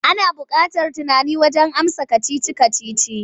Ana buƙatar tunani wajen amsa kacici-kacici.